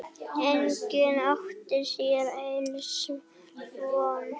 Enginn átti sér ills von.